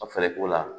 Ka fɛɛrɛ k'o la